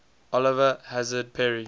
oliver hazard perry